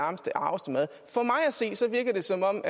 se virker det som om